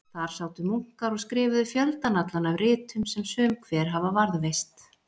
Þar sátu munkar og skrifuðu fjöldann allan af ritum sem sum hver hafa varðveist.